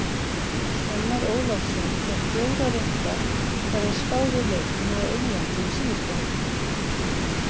Fannar Ólafsson fékk fjóra rétta þegar hann spáði í leikina á Englandi um síðustu helgi.